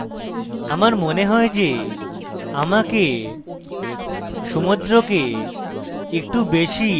আমার মনে হয় যে আমাকে